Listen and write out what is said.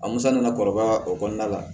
A musa nana kɔrɔbaya o kɔnɔna la